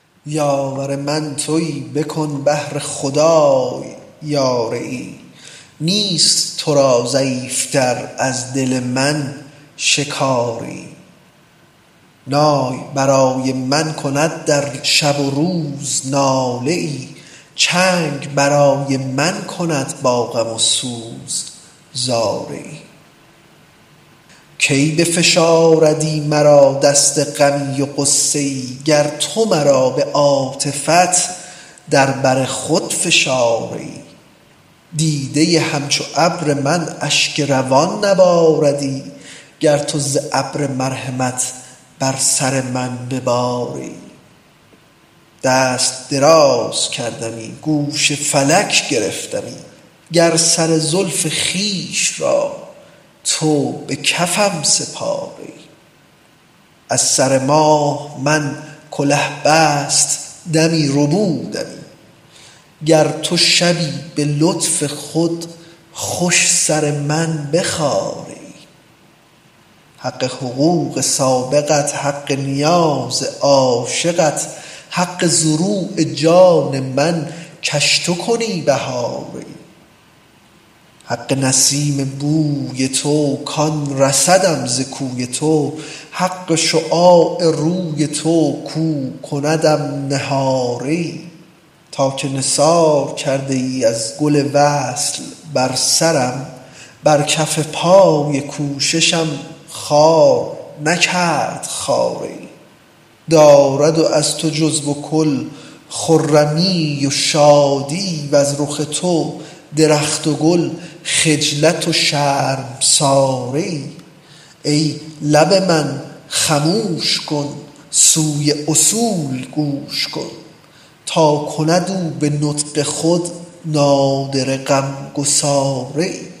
یاور من توی بکن بهر خدای یاریی نیست تو را ضعیف تر از دل من شکاریی نای برای من کند در شب و روز ناله ای چنگ برای من کند با غم و سوز زاریی کی بفشاردی مرا دست غمی و غصه ای گر تو مرا به عاطفت در بر خود فشاریی دیده همچو ابر من اشک روان نباردی گر تو ز ابر مرحمت بر سر من بباریی دست دراز کردمی گوش فلک گرفتمی گر سر زلف خویش را تو به کفم سپاریی از سر ماه من کله بستدمی ربودمی گر تو شبی به لطف خود خوش سر من بخاریی حق حقوق سابقت حق نیاز عاشقت حق زروع جان من کش تو کنی بهاریی حق نسیم بوی تو کان رسدم ز کوی تو حق شعاع روی تو کو کندم نهاریی تا که نثار کرده ای از گل وصل بر سرم بر کف پای کوششم خار نکرد خاریی دارد از تو جزو و کل خرمیی و شادیی وز رخ تو درخت گل خجلت و شرمساریی ای لب من خموش کن سوی اصول گوش کن تا کند او به نطق خود نادره غمگساریی